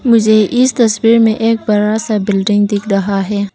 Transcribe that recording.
मुझे इस तस्वीर में एक बड़ा सा बिल्डिंग दिख रहा है।